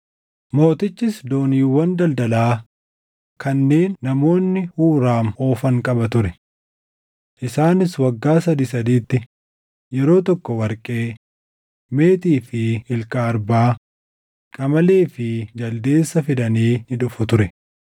Mootichis dooniiwwan daldalaa kanneen namoonni Huuraam oofan qaba ture. Isaanis waggaa sadii sadiitti yeroo tokko warqee, meetii fi ilka arbaa, qamalee fi jaldeessa fidanii ni dhufu ture.